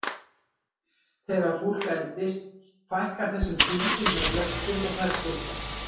Þegar fólk eldist fækkar þessum hvíldum hjá flestum og þær styttast.